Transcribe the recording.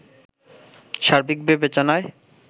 সার্বিক বিবেচনায়